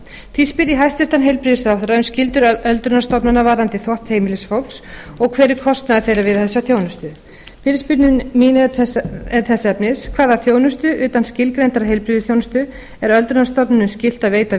því spyr ég hæstvirtan heilbrigðisráðherra um skyldur öldrunarstofnana varðandi þvott heimilisfólks og hver er kostnaður við þessa þjónustu fyrirspurn mín er þess efnis hvaða þjónustu utan skilgreindrar heilbrigðisþjónustu er öldrunarstofnunum skylt að veita